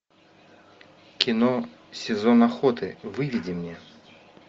кино сезон охоты выведи мне